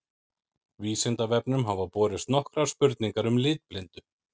Vísindavefnum hafa borist nokkrar spurningar um litblindu.